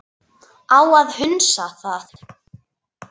Á að hunsa það?